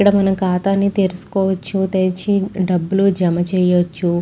ఇక్కడ మన ఖాతాని తెరుచుకోవచ్చు తెరిచి డబ్బులు జమ చేయొచ్చు.